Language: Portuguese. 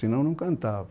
Senão eu não cantava.